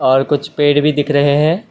और कुछ पेड भी दिख रहे हैं।